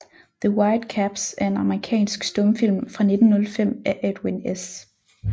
The White Caps er en amerikansk stumfilm fra 1905 af Edwin S